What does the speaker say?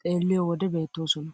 xeelliyoo wode beettoosona.